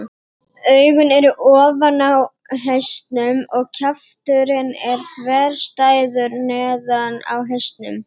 Augun eru ofan á hausnum og kjafturinn er þverstæður neðan á hausnum.